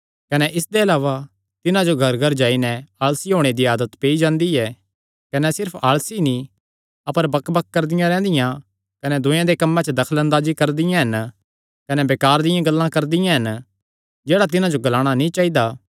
कने इसदे अलावा तिन्हां जो घरघर जाई नैं आलसी होणे दी आदत पेई जांदी ऐ कने सिर्फ आलसी नीं अपर बकबक करदियां रैंह्दियां कने दूयेयां दे कम्मे च दखल अंदाजी करदियां हन कने बेकार दियां गल्लां ग्लांदियां हन जेह्ड़ा तिन्हां जो ग्लाणा नीं चाइदा